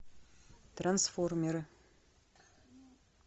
трансформеры